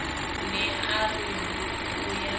ne a re o ya